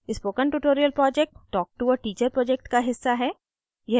spoken tutorial project talktoa teacher project का हिस्सा है